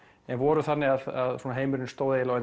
en voru þannig að svona heimurinn stóð eiginlega